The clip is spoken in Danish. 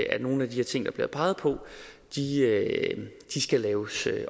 at nogle af de ting der bliver peget på skal laves